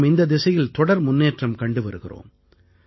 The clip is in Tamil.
நாம் இந்தத் திசையில் தொடர் முன்னேற்றம் கண்டு வருகிறோம்